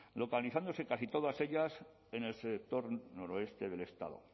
localizándose casi todas ellas en el sector noroeste del estado